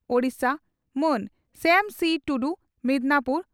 Odisha) Man Shyam Si Tudu (Midnapore